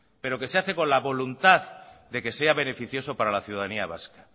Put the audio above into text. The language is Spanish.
pero que se hace con la voluntad de que sea beneficioso para la ciudadanía vasca